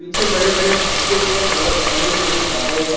पीछे बड़े बड़े उसके ऊपर बहो बड़े बड़े बादल हैं।